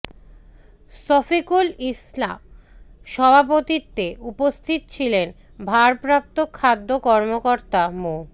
শফিকুল ইসলা সভাপতিত্বে উপস্থিত ছিলেন ভারপ্রাপ্ত খাদ্য কর্মকর্তা মো